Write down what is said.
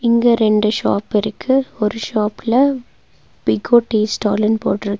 இங்க ரெண்டு ஷாப் இருக்கு ஒரு ஷாப்ல பிகோ டீ ஸ்டால்லுனு போட்ருக்கு.